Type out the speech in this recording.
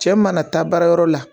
Cɛ mana taa baara yɔrɔ la